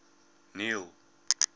neil